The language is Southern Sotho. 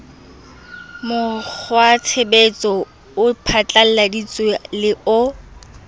mokgwatshebetso o phatlalladitsweng le o